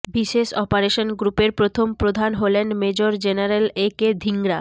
বিশেষ অপারেশন গ্রুপের প্রথম প্রধান হলেন major general A K Dhingra